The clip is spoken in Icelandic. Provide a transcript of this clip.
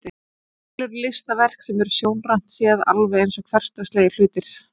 Til eru listaverk sem eru sjónrænt séð alveg eins og hversdagslegir hlutir.